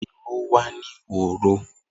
Iru wa ni horo.